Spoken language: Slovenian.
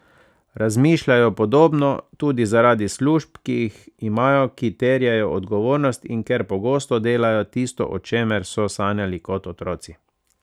Razmišljajo podobno, tudi zaradi služb, ki jih imajo, ki terjajo odgovornost, in ker pogosto delajo tisto, o čemer so sanjali kot otroci.